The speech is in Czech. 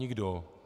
Nikdo.